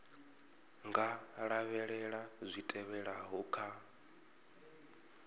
nga lavhelela zwi tevhelaho kha